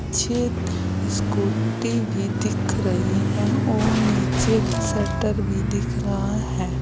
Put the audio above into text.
मुझे स्कूटी भी दिख रही है और नीचे की शटर भी दिख रहा है।